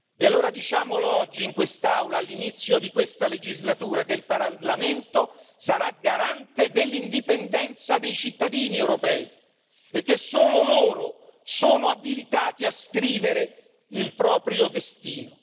E allora diciamolo oggi in quest'Aula, all'inizio di questa legislatura, che il Parlamento europeo sarà garante dell'indipendenza dei cittadini europei e che solo loro sono abilitati a scrivere il proprio destino.